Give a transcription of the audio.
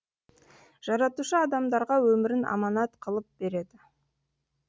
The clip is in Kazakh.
жаратушы адамдарға өмірін аманат қылып береді